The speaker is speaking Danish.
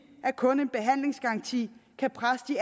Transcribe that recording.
at kun en behandlingsgaranti kan presse de